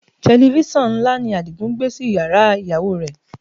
Tẹlifísàn ńlá ni Adigun gbé sí yàrá ìyàwó rẹ̀